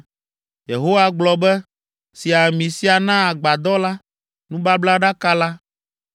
Yehowa gblɔ be, “Si ami sia na agbadɔ la, nubablaɖaka la,